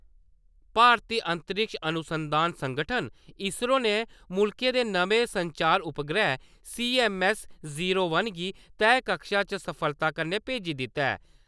भारती अंतरिक्ष अनुसंधान संगठन इसरो ने मुल्खै दे नमें संचार उपग्रह सीऐम्मऐस्स-जीरो वन गी तैह् कक्षा च सफलता कन्नै भेज्जी दित्ता ऐ।